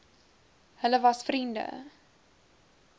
hulle was vriende